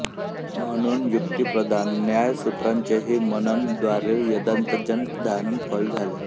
म्हणून युक्तिप्रधान न्यायसूत्रांचेहि मननद्वारां वेदान्तजन्य ज्ञानच फल आहे